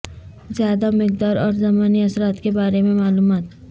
زیادہ مقدار اور ضمنی اثرات کے بارے میں معلومات